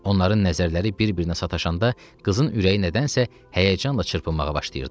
Onların nəzərləri bir-birinə sataşanda qızın ürəyi nədənsə həyəcanla çırpınmağa başlayırdı.